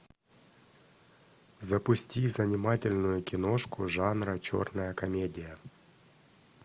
запусти занимательную киношку жанра черная комедия